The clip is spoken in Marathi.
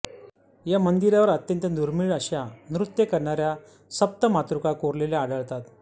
या मंदिरावर अत्यंत दुर्मीळ अशा नृत्य करणाऱ्या सप्तमातृका कोरलेल्या आढळतात